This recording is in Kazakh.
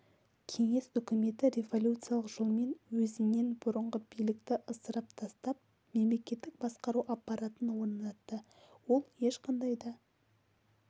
кеңес үкіметі революциялық жолмен өзінен бұрынғы билікті ысырып тастап мемлекеттік басқару аппаратын орнатты ол ешқандай да